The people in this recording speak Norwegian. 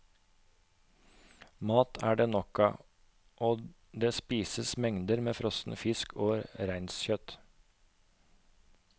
Mat er det nok av og det spises mengder med frossen fisk og reinskjøtt.